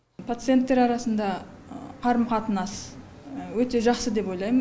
пациенттер арасында қарым қатынас өте жақсы деп ойлаймын